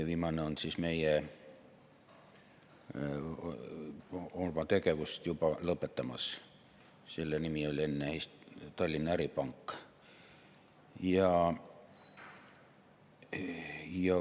Viimane on oma tegevust lõpetamas, tema nimi oli enne Tallinna Äripank.